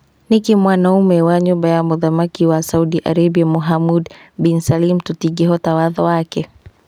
Nĩkĩ mwana ũmwe wa nyũmba ya mũthamaki wa Saudi Arabia Muhammad bin Salim tũtingĩhota watho wake?